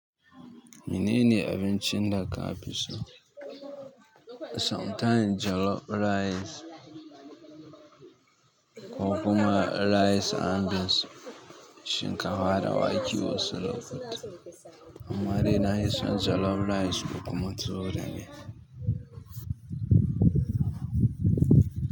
Menene abincin da ka fi so. Sometimes jollof rice, kokuma rice and beans shinkafa da wake wasu lokuta. Amma dai na fi son jollof rice da kuma tuwo da miya.